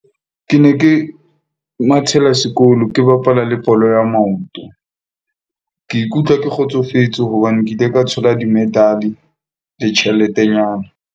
Ke ne ke mathela sekolo. Ke bapala le bolo ya maoto. Ke ikutlwa ke kgotsofetse hobane ke ile ka thola di-medal-e le tjheletenyana.